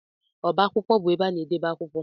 Ọbá akwụkwọ bụ ebe ana edebe akwụkwọ.